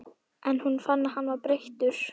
En hún fann að hann var breyttur.